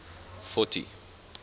fourty